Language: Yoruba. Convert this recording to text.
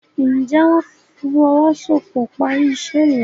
njé wón ìfowosowopo pá rí iṣé yen?